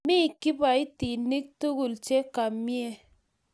Mo kiboitinik tugul che kamie